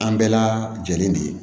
An bɛɛ la jɛlen de ye